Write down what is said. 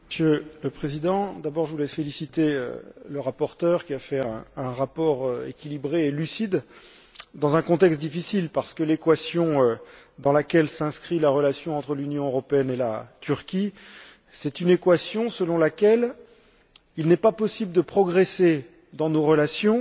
Monsieur le Président, d'abord je voulais féliciter le rapporteur, qui a fait un rapport équilibré et lucide, dans un contexte difficile, parce que l'équation dans laquelle s'inscrit la relation entre l'Union européenne et la Turquie, c'est une équation selon laquelle il n'est pas possible de progresser dans nos relations